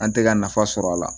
An tɛ ka nafa sɔrɔ a la